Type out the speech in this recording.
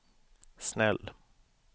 snäll